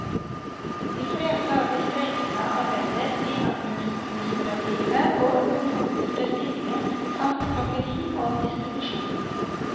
De fleste av de streikende arbeider i administrative og økonomiske stillinger samt pakkeri og distribusjon.